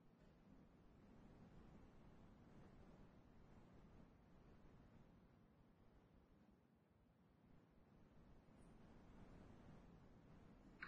Waa maxay astamaha iyo calaamadaha lagu garto yaraanta silsiladda dhexdhexaadka ah ee ketoacyl coa thiolase?